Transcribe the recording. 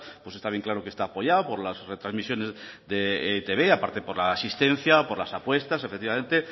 pues está bien claro que está apoyado por las retrasmisiones de etb y a parte por la asistencia por las apuestas efectivamente